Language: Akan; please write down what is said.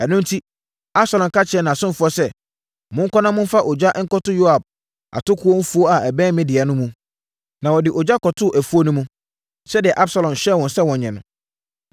Ɛno enti, Absalom ka kyerɛɛ nʼasomfoɔ sɛ, “Monkɔ na momfa ogya nkɔto Yoab atokoɔ afuo a ɛbɛn me deɛ no ho mu.” Na wɔde ogya kɔtoo afuo no mu, sɛdeɛ Absalom hyɛɛ wɔn sɛ wɔnyɛ no.